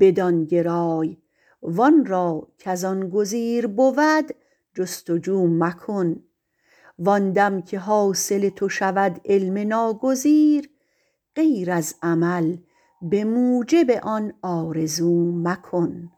بدان گرای وان را کز آن گزیر بود جستجو مکن وان دم که حاصل تو شود علم ناگزیر غیر از عمل به موجب آن آرزو مکن